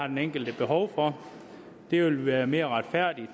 den enkelte har behov for det ville være mere retfærdigt